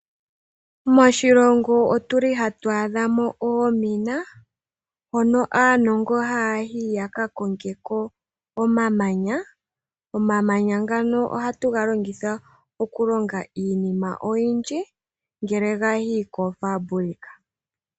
Moshilongo otu li hatu adha mo oomina hono aanongo haya yi yaka konge ko omamanya. Omamanya ngano ohatu ga longitha oku longa iinima oyindji ngele gayi koofambulika.